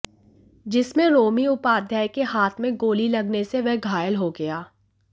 जिसमें रोमी उपाध्याय के हाथ में गोली लगने से वह घायल हो गया